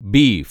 beef